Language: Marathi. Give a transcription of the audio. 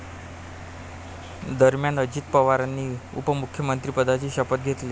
दरम्यान, अजित पवारांनी उपमुख्यमंत्रिपदाची शपथ घेतली.